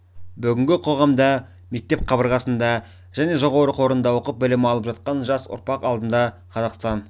бүгінгі қоғамда мектеп қабырғасында және жоғары оқу орнында оқып білім алып жатқан жас ұрпақ алдында қазақстан